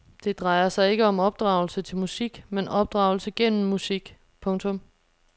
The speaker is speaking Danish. Det drejer sig ikke om opdragelse til musik men opdragelse gennem musik. punktum